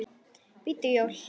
BÍDDU JÓI.